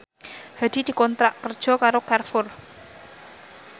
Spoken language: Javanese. Hadi dikontrak kerja karo Carrefour